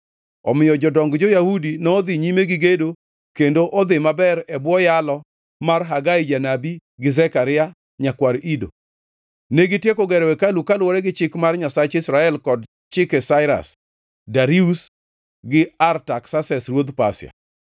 Omiyo jodong jo-Yahudi nodhi nyime gi gedo kendo odhi maber e bwo yalo mar Hagai janabi gi Zekaria, nyakwar Ido. Negitieko gero hekalu kaluwore gi chik mar Nyasach Israel kod chike Sairas, Darius gi Artaksases, ruodhi Pasia.